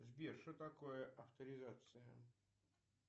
сбер что такое авторизация